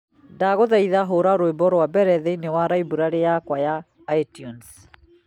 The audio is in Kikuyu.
Ndagũthaitha hũra rwĩmbo rwa mbere thĩinĩ wa library yakwa ya iTunes